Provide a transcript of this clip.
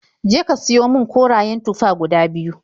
Je ka siyo min korayen tufa guda biyu.